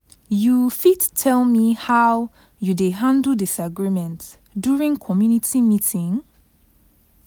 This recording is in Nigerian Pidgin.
You fit tell me how you dey handle disagreement during community meeting?